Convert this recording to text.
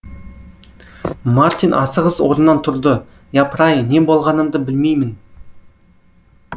мартин асығыс орнынан тұрды япыр ай не болғанымды білмеймін